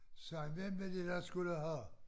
Sagde jeg hvem var det der skulle have